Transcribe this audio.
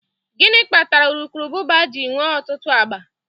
Gịnị kpatara urukurubụba ji nwee ọtụtụ agba?